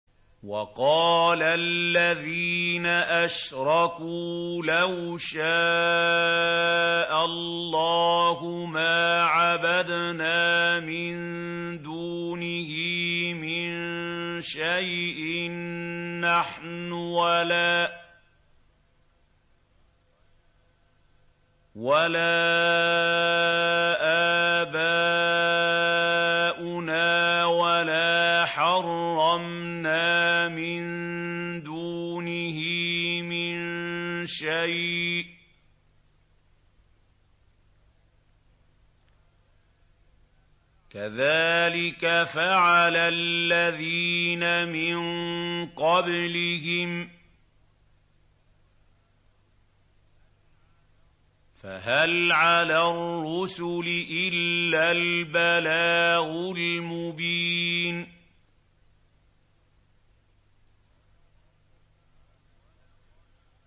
وَقَالَ الَّذِينَ أَشْرَكُوا لَوْ شَاءَ اللَّهُ مَا عَبَدْنَا مِن دُونِهِ مِن شَيْءٍ نَّحْنُ وَلَا آبَاؤُنَا وَلَا حَرَّمْنَا مِن دُونِهِ مِن شَيْءٍ ۚ كَذَٰلِكَ فَعَلَ الَّذِينَ مِن قَبْلِهِمْ ۚ فَهَلْ عَلَى الرُّسُلِ إِلَّا الْبَلَاغُ الْمُبِينُ